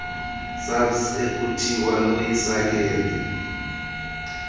saps ekuthiwa loyisakele